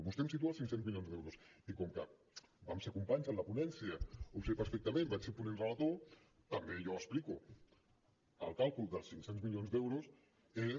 vostè em situa els cinc cents milions d’euros i com que vam ser companys en la ponència ho sé perfectament vaig ser ponent relator també jo explico que el càlcul dels cinc cents milions d’euros és